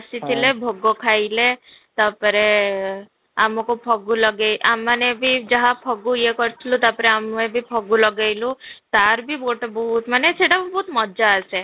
ଆସିଥିଲେ ଭୋଗ ଖାଇଲେ ତା'ପରେ ଆମକୁ ଫଗୁ ଲଗେଇ ଆମେ ମାନେ ବି ଯାହା ଫଗୁ ଇୟେ କରିଥିଲୁ ତା'ପରେ ଆମେ ବି ଫଗୁ ଲଗେଇଲୁ ତା'ର ବି ଗୋଟେ ବହୁତ ମାନେ ସେଇଟା ବହୁତ ମଜା ଆସେ